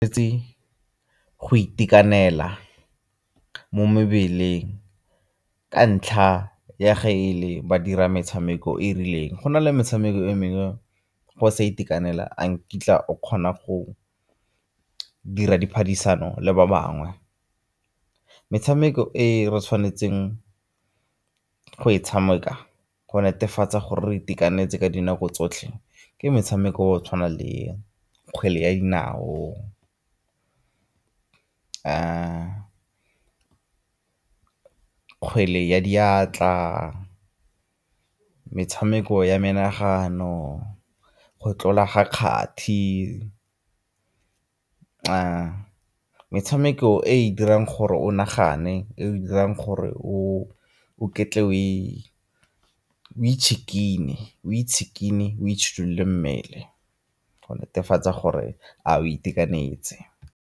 Itse go itekanela mo mebeleng ka ntlha ya ge e le ba dira metshameko e e rileng. Go na le metshameko e mengwe ge o sa itekanela a nkitla o kgona go dira diphadisano le ba bangwe. Metshameko e re tshwanetseng go e tshameka go netefatsa gore re itekanetse ka dinako tsotlhe ke metshameko ya go tshwana le kgwele ya dinao, kgwele ya diatla, metshameko ya menagano, go tlola ga kgati. Metshameko e e dirang gore o nagane, e e dirang gore o o ketle mmele go netefatsa gore a o itekanetse.